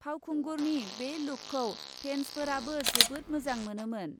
फावखुंगुरनि बे लुकखौ फेन्सफोराबो जोबोद मोजां मोनोमोन ।